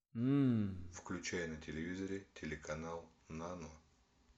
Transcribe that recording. включай на телевизоре телеканал нано